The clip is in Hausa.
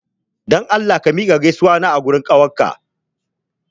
Dan Allah ka miƙa gaisuwata a gurin kawunka!